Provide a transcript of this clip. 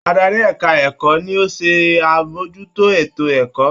Adarí ẹ̀ka - ẹ̀kọ́ ni ó ṣe ń àbójútó ètò -ẹ̀kọ́